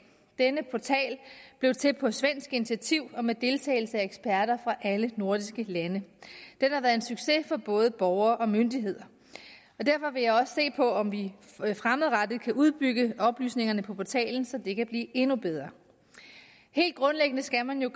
denne portal blev til på svensk initiativ og med deltagelse af eksperter fra alle nordiske lande den har været en succes for både borgere og myndigheder derfor vil jeg også se på om vi fremadrettet vil kunne udbygge de oplysninger der er på portalen så de kan blive endnu bedre helt grundlæggende skal man jo